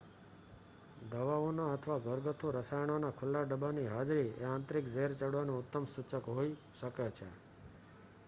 દવાઓના અથવા ઘરગથ્થુ રસાયણોના ખુલ્લા ડબ્બાની હાજરી એ આંતરિક ઝેર ચડવાનું ઉત્તમ સૂચક હોઈ શકે છે